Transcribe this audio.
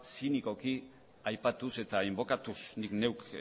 zinikoki aipatuz eta inbokatuz nik neuk